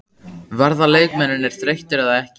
Verða leikmennirnir þreyttir eða ekki?